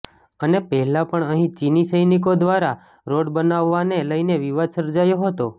અને પહેલા પણ અહીં ચીની સૈનિકો દ્વારા રોડ બનાવવાને લઈને વિવાદ સર્જાયો હતો